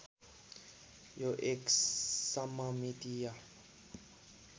यो एक सममितीय